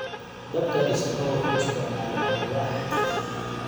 Dabka dhismuhu wuxuu isticmaalaa alwaax.